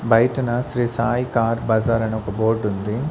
బయటన శ్రీ సాయి కార్ బజార్ అని ఒక బోర్డు ఉంది.